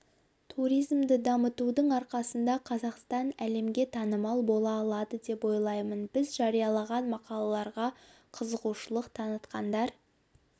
туризмді дамытудың арқасында қазақстан әлемге танымал бола алады деп ойлаймын біз жариялаған мақалаларға қызығушылық танытқандар